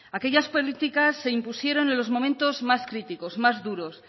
aquellas políticas se impusieron en los momentos más críticos más duros